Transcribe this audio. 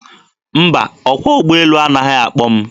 Mba, ọkwọ ụgbọelu anaghị akpọ m.